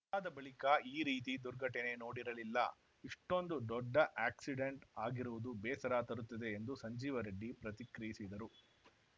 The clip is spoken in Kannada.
ಅದಾದ ಬಳಿಕ ಈ ರೀತಿ ದುರ್ಘಟನೆ ನೋಡಿರಲಿಲ್ಲ ಇಷ್ಟೊಂದು ದೊಡ್ಡ ಆಕ್ಸಿಡೆಂಟ್‌ ಆಗಿರುವುದು ಬೇಸರ ತರುತ್ತದೆ ಎಂದು ಸಂಜೀವ ರೆಡ್ಡಿ ಪ್ರತಿಕ್ರಿಯಿಸಿದರು